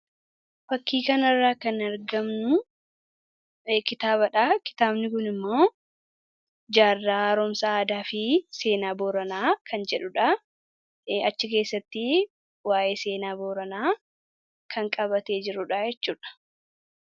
Fakkii kanarraa kan argannu kitaaba dha. Kitaabni kun immoo, 'Jaarraa Haaromsa Aadaa fi Seenaa Booranaa' kan jedhuudha. Achi keessattii waayee seenaa Booraanaa kan qabatee jiruu dha jechuudha.